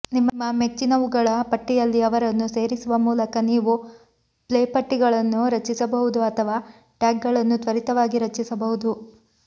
ನಿಮ್ಮ ಮೆಚ್ಚಿನವುಗಳ ಪಟ್ಟಿಯಲ್ಲಿ ಅವರನ್ನು ಸೇರಿಸುವ ಮೂಲಕ ನೀವು ಪ್ಲೇಪಟ್ಟಿಗಳನ್ನು ರಚಿಸಬಹುದು ಅಥವಾ ಟ್ಯಾಗ್ಗಳನ್ನು ತ್ವರಿತವಾಗಿ ರಚಿಸಬಹುದು